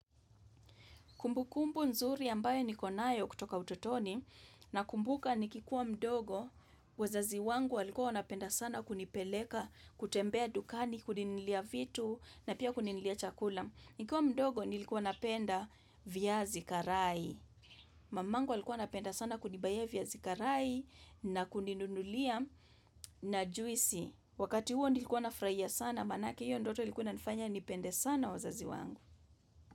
Kumbukumbu nzuri ambayo niko nayo kutoka utotoni na kumbuka nikikuwa mdogo, wazazi wangu walikua wanapenda sana kunipeleka, kutembea dukani, kuni nunulia vitu na pia kuninunulia chakula. Nikiwa mdogo nilikuwa napenda vyazi karai. Mamangu alikuwa anapenda sana kunibayia vyazi karai na kuninunulia na juisi. Wakati huo nilikuwa nafurahia sana, manake hiyo ndoto ilikuwa inanifanya nipende sana wazazi wangu.